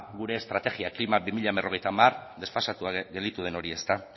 gure estrategia klima dos mil cincuenta desfasatua gelditu den hori